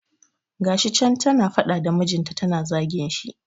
Ga shi can ta na faɗa da mijinta ta na zagin shi.